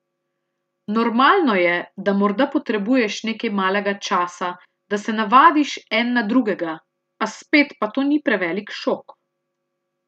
Normalno je, da morda potrebuješ nekaj malega časa, da se navadiš en na drugega, a spet pa to ni prevelik šok.